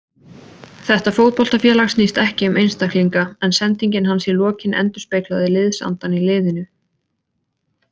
Þetta fótboltafélag snýst ekki um einstaklinga, en sendingin hans í lokin endurspeglaði liðsandann í liðinu.